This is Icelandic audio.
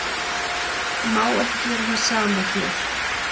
Má ekki gera það sama hér?